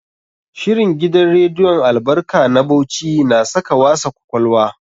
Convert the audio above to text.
Shirin gidan rediyon Albarka a Bauchi na saka wasa kwakwalwa.